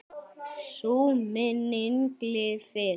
Sú minning lifir.